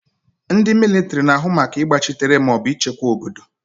Ndị mịlịtịrị na-ahụ maka ịgbachitere maọbụ ịchekwa obodo.